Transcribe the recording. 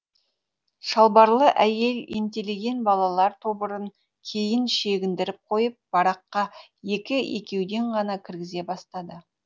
шалбарлы әйел ентелеген балалар тобырын кейін шегіндіріп қойып бараққа екі екеуден ғана кіргізе бастады